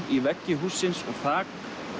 í veggi hússins og þak